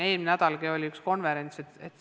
Eelmisel nädalalgi oli üks konverents.